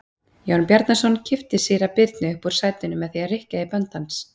Jón Bjarnason kippti síra Birni upp úr sætinu með því að rykkja í bönd hans.